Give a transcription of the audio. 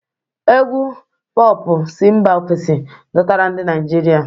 Égwù Pọọpụ si mba ofesi dọtara ndị Naijiria.